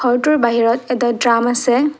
ঘৰটোৰ বাহিৰত এটা ড্ৰাম আছে।